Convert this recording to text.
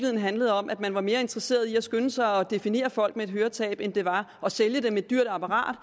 handlede om at man var mere interesseret i at skynde sig at definere folk med et høretab og sælge dem et dyrt apparat